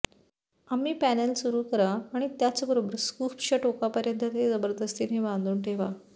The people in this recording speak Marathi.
आम्ही पॅनेल सुरू करा आणि त्याचबरोबर स्कूप्सच्या टोकापर्यंत ते जबरदस्तीने बांधून ठेवा